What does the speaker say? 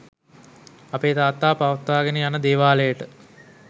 අපේ තාත්තා පවත්වාගෙන යන දේවාලයට